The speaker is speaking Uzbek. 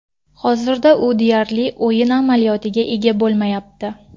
Hozirda u deyarli o‘yin amaliyotiga ega bo‘lmayapti.